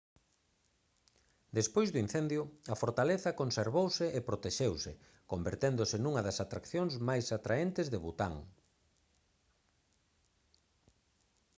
despois do incendio a fortaleza conservouse e protexeuse converténdose nunha das atraccións máis atraentes de bután